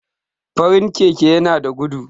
farin Keke yana da gudu